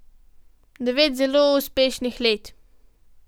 Devet zelo uspešnih let.